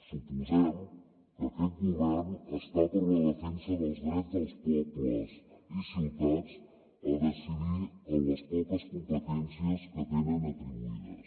suposem que aquest govern està per la defensa dels drets dels pobles i ciutats a decidir en les poques competències que tenen atribuïdes